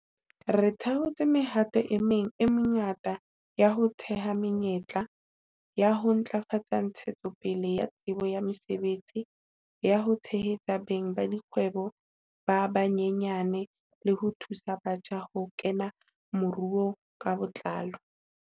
Re thakgotse mehato e meng e mengata ya ho theha menyetla, ya ho ntlafatsa ntshetsopele ya tsebo ya mosebetsi, ya ho tshehetsa beng ba dikgwebo ba banyenyane le ho thusa batjha ho kena moruong ka botlalo.